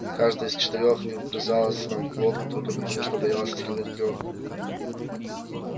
каждое из четырёх не вгрызалось нам в глотку только потому что боялось остальных трёх